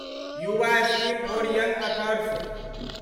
Yuva scheme for young others